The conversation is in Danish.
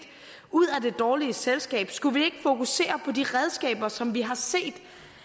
ud af det dårlige selskab skulle vi ikke fokusere på de redskaber som vi allerede har set